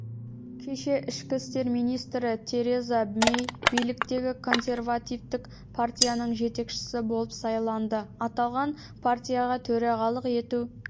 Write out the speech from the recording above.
кеше ішкі істер министрі тереза мэй биліктегі консервативтік партияның жетекшісі болып сайланды аталған партияға төрағалық ету